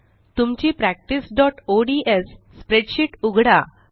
तुमची practiceओडीएस स्प्रेडशीट उघडा